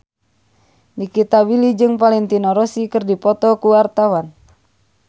Nikita Willy jeung Valentino Rossi keur dipoto ku wartawan